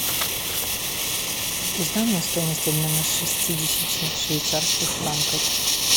узнай мне стоимость обмена шестидесяти швейцарских франков